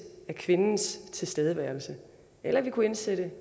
af kvindens tilstedeværelse eller vi kunne indsætte